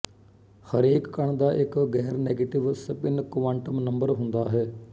ਹਰੇਕ ਕਣ ਦਾ ਇੱਕ ਗੈਰਨੈਗਟਿਵ ਸਪਿੱਨ ਕੁਆਂਟਮ ਨੰਬਰ ਹੁੰਦਾ ਹੈ